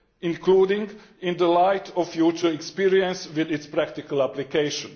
including in the light of future experience with its practical application.